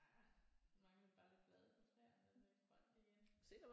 Ej nu mangler vi bare lidt blade på træerne og lidt grønt igen